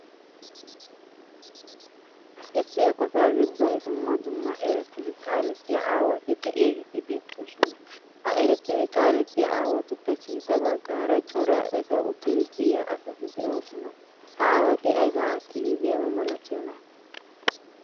Issi eqotta giddon dumma dumma erettidi kaalettiya aawatti de'yagetti beettossona. Ha erettidi kaalettiyaa aawatuppe sintta bagaara cora etta uttid siyiyaa asatti de'ossona. Ha aawatti ayba aatidi doyaaba milatiyoona?